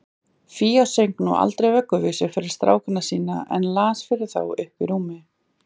Fía söng nú aldrei vögguvísur fyrir strákana sína, en hún las fyrir þá uppí rúmi.